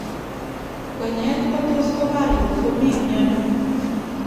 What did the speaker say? kwenyet kotus kopar ngotkomii miando